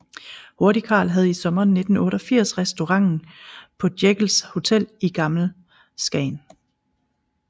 Hurtigkarl havde i sommeren 1988 restauranten på Jeckels Hotel i Gammel Skagen